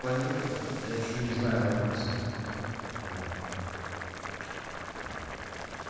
планируем я ещё не знаю адреса вот